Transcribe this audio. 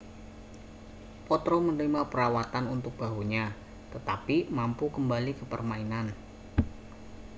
potro menerima perawatan untuk bahunya tetapi mampu kembali ke permainan